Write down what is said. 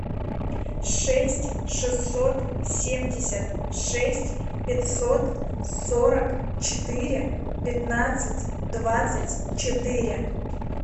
шесть шестьсот семьдесят шесть пятьсот сорок четыре пятнадцать двадцать четыре